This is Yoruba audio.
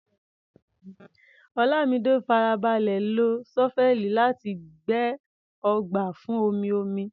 Olamide farabalẹ̀ lo ṣọ́fẹ́ẹ̀lì láti gbẹ́ ọgbà fún omi-omi.